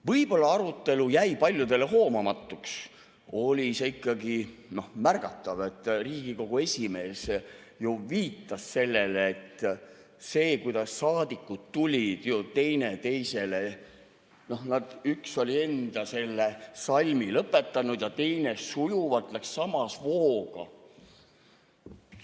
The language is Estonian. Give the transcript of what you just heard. Võib-olla arutelu jäi paljudele hoomamatuks, aga see oli ikkagi märgatav, et Riigikogu esimees viitas sellele, et see, kuidas saadikud tulid teineteisele ..., noh, üks oli enda salmi lõpetanud ja teine sujuvalt läks samas vooga.